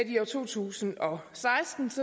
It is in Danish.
i to tusind og seksten